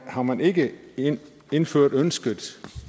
har man ikke indført ønsket